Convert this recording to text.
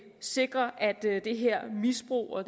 sikre at det her misbrug og